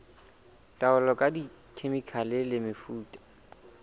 taolo ka dikhemikhale le mefuta